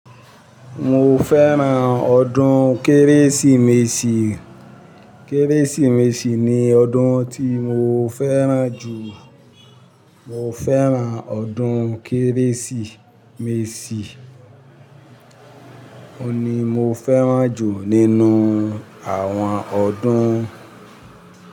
Mo fẹ́ran ọdún Kérésìmesì. Kérésìmesì ni ọdún tí mo fẹ́ran jù. Mo fẹ́ran ọdún Kérésìmesì, òun ni mo fẹ́ran jù nínú àwọn ọdún.